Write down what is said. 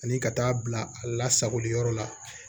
Ani ka taa bila a lasagoli yɔrɔ la